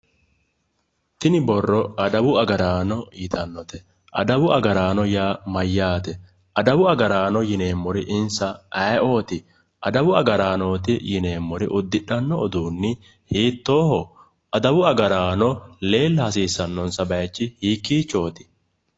tini borro adawu agaraano yitannote adawu agaraano yaa mayyaate? adawu agaaraano yineemmoti insa ayeeooti? adawu agaraanooti yineemmori uddidhanno uduunni hiittooho? adawu agaraano leella hasiissannonsa bayiichi hiikkiichooti?